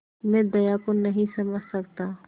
मैं दया को नहीं समझ सकता